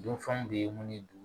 Dunfanw de ye mun ye